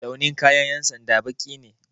Launin kayan ƴan sanda baƙi ne